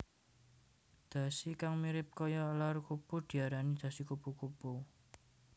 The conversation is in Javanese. Dhasi kang mirip kaya elar kupu diarani dhasi kupu kupu